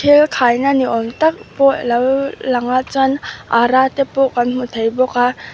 bel khaina ni awm tam pawh a lo lang a chuan ara te pawh kan hmu thei bawk a.